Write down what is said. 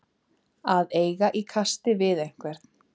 Að eiga í kasti við einhvern